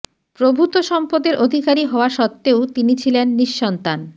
প্রভূত সম্পদের অধিকারী হওয়া সত্ত্বেও তিনি ছিলেন নিঃসন্তান